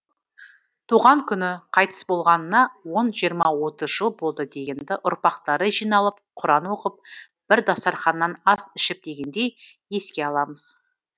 туған күні қайтыс болғанына он жиырма отыз жыл болды дегенді ұрпақтары жиналып құран оқып бір дастарқаннан ас ішіп дегендей еске аламыз